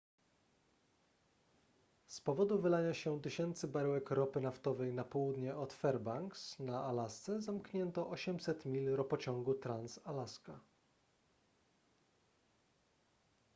z powodu wylania się tysięcy baryłek ropy naftowej na południe od fairbanks na alasce zamknięto 800 mil ropociągu trans-alaska